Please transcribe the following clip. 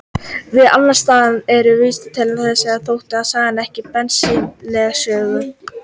Víða annars staðar er vísað til þessara sagna þótt þar sé sagan ekki beinlínis sögð.